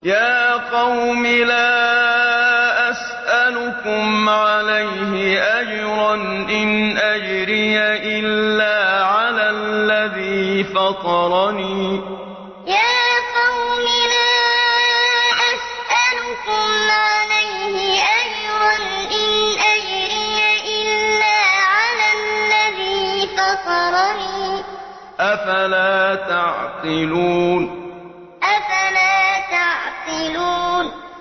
يَا قَوْمِ لَا أَسْأَلُكُمْ عَلَيْهِ أَجْرًا ۖ إِنْ أَجْرِيَ إِلَّا عَلَى الَّذِي فَطَرَنِي ۚ أَفَلَا تَعْقِلُونَ يَا قَوْمِ لَا أَسْأَلُكُمْ عَلَيْهِ أَجْرًا ۖ إِنْ أَجْرِيَ إِلَّا عَلَى الَّذِي فَطَرَنِي ۚ أَفَلَا تَعْقِلُونَ